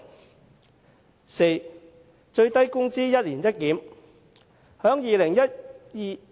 第四，為最低工資進行"一年一檢"。